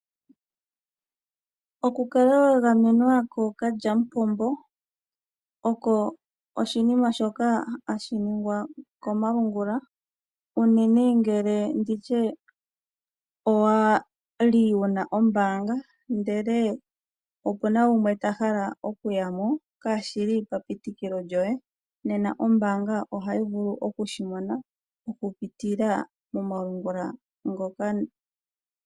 Oku kala wa gamwe nwa kookalya mupombo oko oshinima shoka hashi ningwa komalungula, unene ngele nditye owa li wuna ombaanga ndele opuna gumwe ta hala oku ya mo shaa shili pa pitikilo lyoye nena ombaanga ohayi vulu oku shimona oku pitila komalungula ngoka.